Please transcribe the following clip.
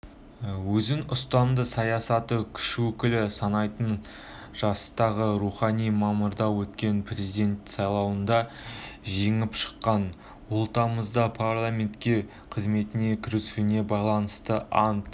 өзін ұстамды саяси күш өкілі санайтын жастағы роухани мамырда өткен президент сайлауында жеңіп шыққан ол тамызда парламентте қызметіне кірісуіне байланысты ант